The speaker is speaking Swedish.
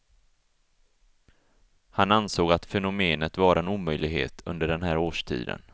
Han ansåg att fenomenet var en omöjlighet under den här årstiden.